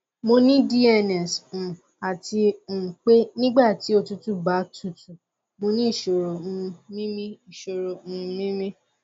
mo ní dns um àti um pé nígbà tí òtútù bá tutù mo ní ìṣòro um mímí ìṣòro um mímí